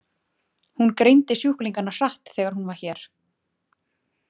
Hún greindi sjúklingana hratt þegar hún var hér.